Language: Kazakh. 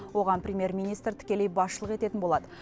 оған премьер министр тікелей басшылық ететін болады